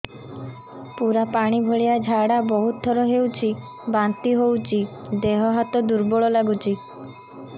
ପୁରା ପାଣି ଭଳିଆ ଝାଡା ବହୁତ ଥର ହଉଛି ବାନ୍ତି ହଉଚି ଦେହ ହାତ ଦୁର୍ବଳ ଲାଗୁଚି